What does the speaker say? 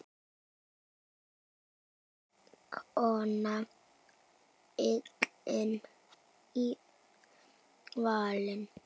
Einstök kona fallin í valinn.